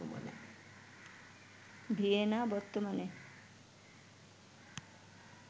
Vienna বর্তমানে